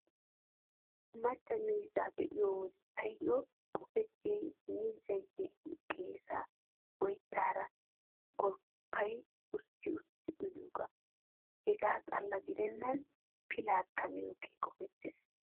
Macca miizzaa be'iyo wode taayyo qopettiyay miizzay yelin qeesaa oyttaara golppayi ustti ustti uyiyoogaa. Hegaa xalla gidennan pilaakka miyoogee qopettees.